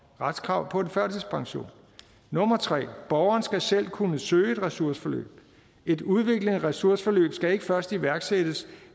retskrav på en førtidspension 3 borgeren skal selv kunne søge et ressourceforløb et udviklende ressourceforløb skal ikke først iværksættes